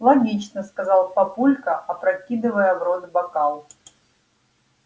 логично сказал папулька опрокидывая в рот бокал